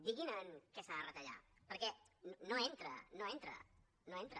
diguin en què s’ha de retallar perquè no entra no entra no entra